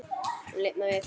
Hún lifnar við.